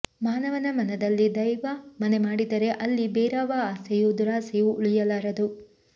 ಮಾನವನ ಮನದಲ್ಲಿ ದೈವ ಮನೆ ಮಾಡಿದರೆ ಅಲ್ಲಿ ಬೇರಾವ ಆಸೆಯೂ ದುರಾಸೆಯೂ ಉಳಿಯಲಾರದು